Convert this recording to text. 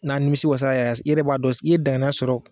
N'a nimisi wasala yɛrɛ i yɛrɛ b'a dɔn i ye daŋaniya sɔrɔ